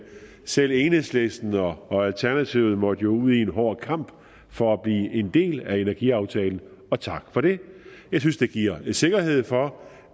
selv enhedslisten og og alternativet jo måtte ud i en hård kamp for at blive en del af energiaftalen og tak for det jeg synes det giver sikkerhed for